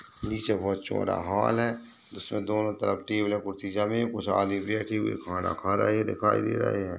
नीचे बोहत चौड़ा हॉल है उसमे दोनों तरफ टेबलें कुर्सी जमी हुई कुछ आदमी बैठी हुई खाना खा रहे दिखाई दे रहे हैं।